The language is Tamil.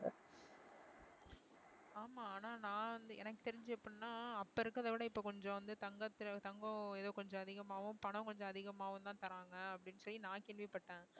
ஆமா ஆனா நான் வந்து எனக்கு தெரிஞ்சு எப்படின்னா அப்ப இருக்கிறதை விட இப்ப கொஞ்சம் வந்து தங்கத்துல தங்கம் ஏதோ கொஞ்சம் அதிகமாவும் பணம் கொஞ்சம் அதிகமாவும்தான் தர்றாங்க அப்படின்னு சொல்லி நான் கேள்விப்பட்டேன்